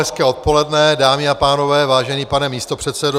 Hezké odpoledne, dámy a pánové, vážený pane místopředsedo.